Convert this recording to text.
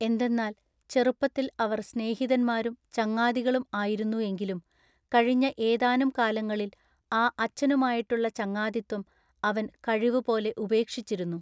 എന്തെന്നാൽ ചെറുപ്പത്തിൽ അവർ സ്നേഹിതന്മാരും ചങ്ങാതികളും ആയിരുന്നു എങ്കിലും കഴിഞ്ഞ ഏതാനും കാലങ്ങളിൽ ആ അച്ചനുമായിട്ടുള്ള ചങ്ങാതിത്വം അവൻ കഴിവു പോലെ ഉപേക്ഷിച്ചിരുന്നു.